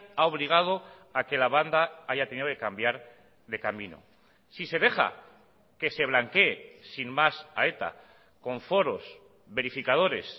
ha obligado a que la banda haya tenido que cambiar de camino si se deja que se blanquee sin más a eta con foros verificadores